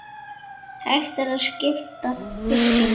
Hægt er að skipta fylkinu